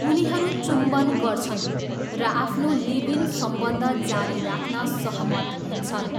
उनीहरू चुम्बन गर्छन् र आफ्नो लिभ इन सम्बन्ध जारी राख्न सहमत हुन्छन्।